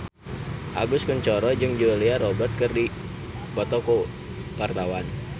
Agus Kuncoro jeung Julia Robert keur dipoto ku wartawan